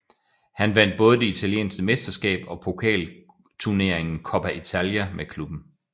Han vandt både det italienske mesterskab og pokalturneringen Coppa Italia med klubben